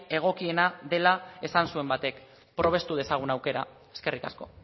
egokiena dela esan zuen batek probestu dezagun aukera eskerrik asko